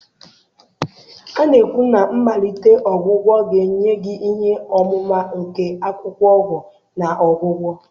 A na-ekwu na mmalite ọgwụgwọ ga-enye gị ihe ọmụma nke akwụkwọ ọgwụ na ọgwụgwọ.